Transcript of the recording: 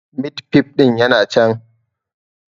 Mit fif ɗin yana can